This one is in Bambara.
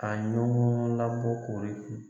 A ɲɔgɔn labɔ koori kun